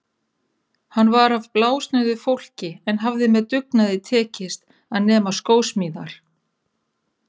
Hann var af blásnauðu fólki en hafði með dugnaði tekist að nema skósmíðar.